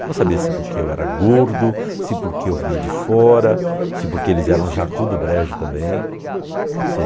Eu não sabia se porque eu era gordo, se porque eu vinha de fora, se porque eles eram Jacu do Brejo também, se